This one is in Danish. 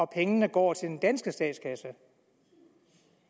pengene går til den danske statskasse